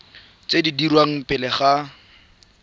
tse di dirwang pele ga